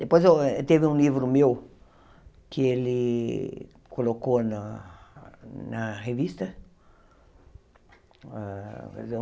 Depois eu teve um livro meu que ele colocou na na revista.